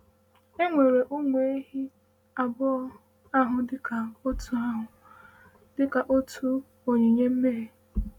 E weere ụmụ ewu abụọ ahụ dịka otu ahụ dịka otu onyinye mmehie.